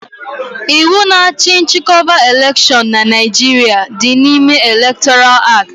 Ịwu na achị nchịkọba elekshon n'Naijiria dị n'ime elektoral acti